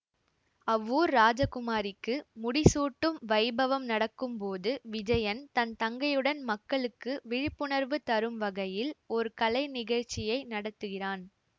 அவ்வூர் ராஜகுமாரிக்கு முடிசூட்டும் வைபவம் நடக்கும் போது விஜயன் தன் தங்கையுடன் மக்களுக்கு விழிப்புணர்வு தரும் வகையில் ஒரு கலை நிகழ்ச்சியை நடத்துகிறான்